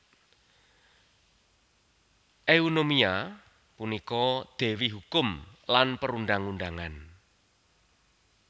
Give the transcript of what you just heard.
Eunomia punika dewi hukum lan perundang undangan